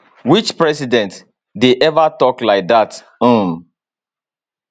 which president dey ever tok like dat um